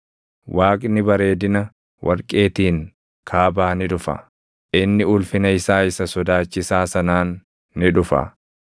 Waaqni bareedina warqeetiin kaabaa ni dhufa; inni ulfina isaa isa sodaachisaa sanaan ni dhufa.